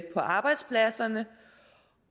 arbejdspladserne